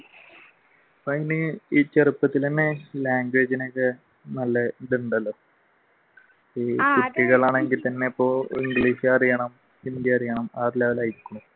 ചെറുപ്പത്തിൽ തന്നെ language ന് ഒക്കെ നല്ല ഇതുണ്ടല്ലോ കുട്ടികളാണെങ്കിൽ തന്നെ ഇപ്പൊ english അറിയണം ഹിന്ദി അറിയണം